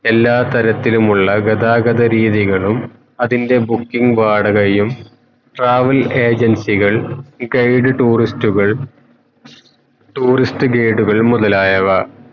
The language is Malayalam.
എല്ലാ തരത്തിലുമുള്ള ഗതാഗത രീതികളും അതിൻ്റെ booking വാടകയും travel agency കൾ guide tourst കൾ tourist വീടുകൾ മുതലായവ